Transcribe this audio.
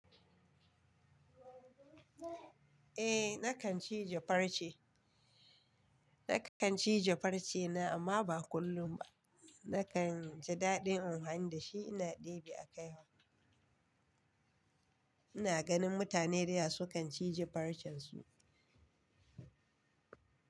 Eh nakan cije farce, nakan cije farce na amma ba kullum ba. Nakan ji daɗin anhyani da shi ina ɗebe a kaihya. Ina ganin mutane da yawa su kan cije farcen su.